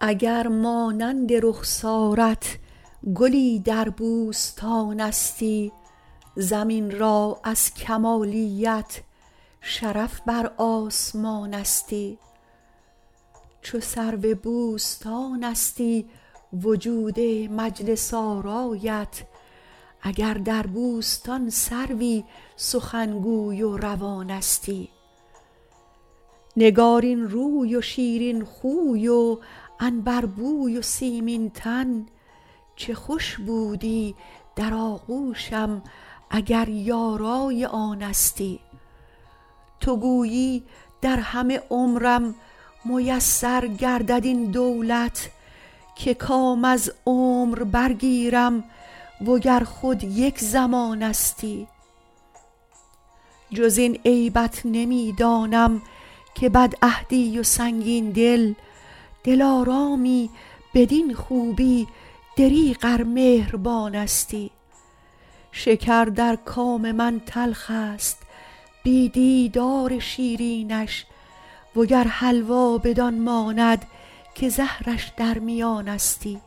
اگر مانند رخسارت گلی در بوستانستی زمین را از کمالیت شرف بر آسمانستی چو سرو بوستانستی وجود مجلس آرایت اگر در بوستان سروی سخنگوی و روانستی نگارین روی و شیرین خوی و عنبربوی و سیمین تن چه خوش بودی در آغوشم اگر یارای آنستی تو گویی در همه عمرم میسر گردد این دولت که کام از عمر برگیرم و گر خود یک زمانستی جز این عیبت نمی دانم که بدعهدی و سنگین دل دلارامی بدین خوبی دریغ ار مهربانستی شکر در کام من تلخ است بی دیدار شیرینش و گر حلوا بدان ماند که زهرش در میانستی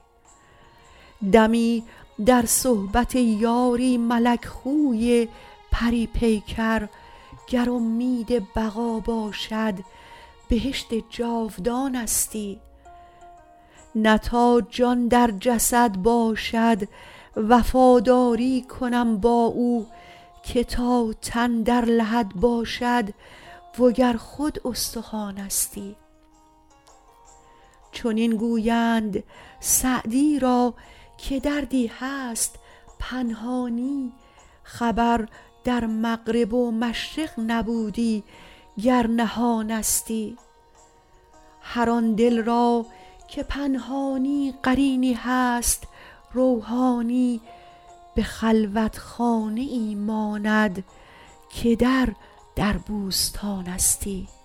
دمی در صحبت یاری ملک خوی پری پیکر گر امید بقا باشد بهشت جاودانستی نه تا جان در جسد باشد وفاداری کنم با او که تا تن در لحد باشد و گر خود استخوانستی چنین گویند سعدی را که دردی هست پنهانی خبر در مغرب و مشرق نبودی گر نهانستی هر آن دل را که پنهانی قرینی هست روحانی به خلوتخانه ای ماند که در در بوستانستی